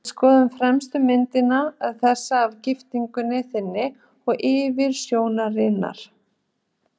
Við skoðuðum fremstu myndina, þessa af giftingunni þinni og yfirsjónarinnar.